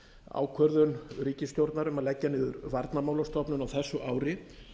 ákvörðun ríkisstjórnar um að leggja niður varnarmálastofnun á þessu ári